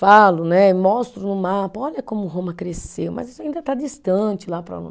Falo né, mostro no mapa, olha como Roma cresceu, mas isso ainda está distante lá para o